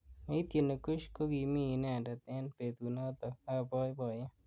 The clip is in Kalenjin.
Neityini Kush kokimi inendet eng betunotok ab boiboyet.